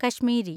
Kashmiri